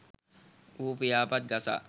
ඌ පියාපත් ගසා